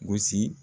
Gosi